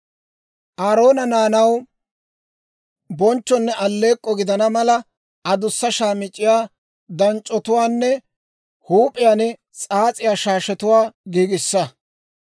Aaroona naanaw bonchchonne alleek'k'o gidana mala, adussa shaamic'c'iyaa, danc'c'otuwaanne huup'iyaan s'aas'iyaa shaashetuwaa giigissa.